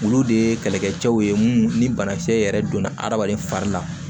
Olu de ye kɛlɛkɛcɛw ye ni banakisɛ yɛrɛ donna hadamaden fari la